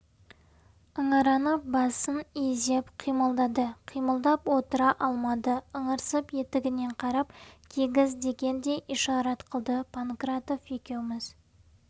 ыңыранып басын изеп қимылдады қимылдап отыра алмады ыңырсып етігіне қарап кигіз дегендей ишарат қылды панкратов екеуіміз